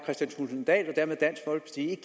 at